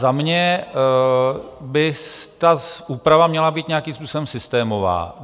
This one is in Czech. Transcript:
Za mě by ta úprava měla být nějakým způsobem systémová.